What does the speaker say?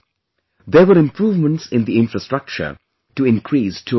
There were improvements in the infrastructure to increase tourism